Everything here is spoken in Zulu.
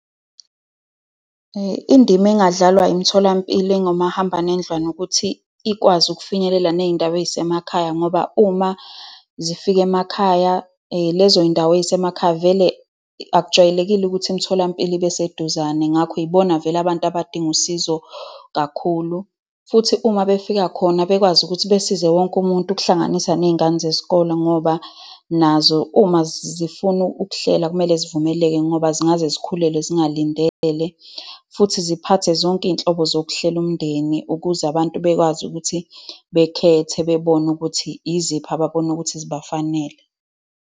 Indima engadlalwa imitholampilo engomahambanendlwana ukuthi ikwazi ukufinyelela ney'ndawo ey'semakhaya, ngoba uma zifika emakhaya lezo y'ndawo ey'semakhaya, vele akujwayelekile ukuthi imitholampilo ibe seduzane. Ngakho yibona vele abantu abadinga usizo kakhulu. Futhi uma befika khona, bekwazi ukuthi besize wonke umuntu, ukuhlanganisa ney'ngane zesikole ngoba nazo uma zifuna ukuhlela kumele zivumeleke ngoba zingaze zikhulelwe zingalindele. Futhi ziphathe zonke iy'nhlobo zokuhlela umndeni, ukuze abantu bekwazi ukuthi bekhethe, bebone ukuthi yiziphi ababona ukuthi zibafanele.